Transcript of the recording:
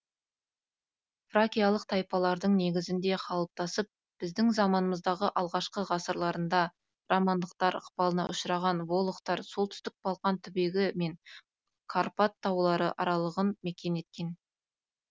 фракиялық тайпалардың негізінде қалыптасып біздің заманымыздағы алғашқы ғасырларында романдықтар ықпалына ұшыраған волохтар солтүстік балқан түбегі мен карпат таулары аралығын мекен еткен